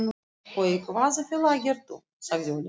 Og í hvaða félagi ert þú? sagði Óli.